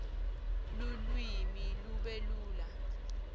lulwimi lube lula